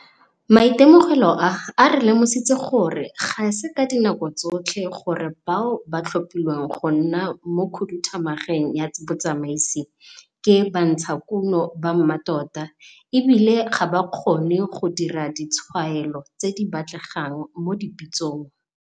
Maitemogelo a a re lemositse gore ga se ka dinako tsotlhe gore bao ba tlhophiwang go nna mo khuduthamageng ya botsamaisi ke bantshakuno ba mmatota, e bile ga ba kgone go dira ditshwaelo tse di batlegang mo dipitsong.